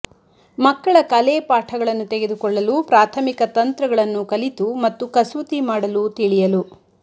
ಮಕ್ಕಳ ಕಲೆ ಪಾಠಗಳನ್ನು ತೆಗೆದುಕೊಳ್ಳಲು ಪ್ರಾಥಮಿಕ ತಂತ್ರಗಳನ್ನು ಕಲಿತು ಮತ್ತು ಕಸೂತಿ ಮಾಡಲು ತಿಳಿಯಲು